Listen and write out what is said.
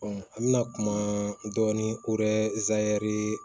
an bɛna kuma dɔɔnin ko yɛrɛ